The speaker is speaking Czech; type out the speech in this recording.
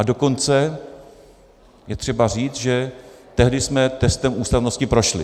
A dokonce je třeba říct, že tehdy jsme testem ústavnosti prošli.